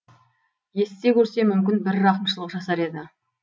естісе көрсе мүмкін бір рақымшылық жасар еді